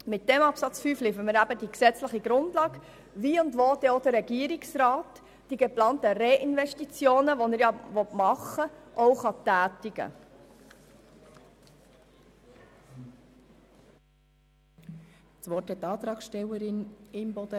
Mit diesem Absatz 5 bereiten wir die gesetzliche Grundlage dafür, dass der Regierungsrat die von ihm geplanten Reininvestitionen auch tätigen kann.